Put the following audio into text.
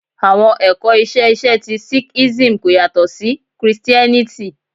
Awọn ẹkọ iṣe iṣe ti sikhism ko yatọ si Kristiẹniti